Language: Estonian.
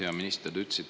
Hea minister!